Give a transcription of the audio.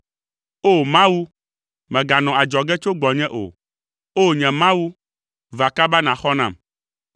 O! Mawu, mèganɔ adzɔge tso gbɔnye o, O! Nye Mawu, va kaba nàxɔ nam.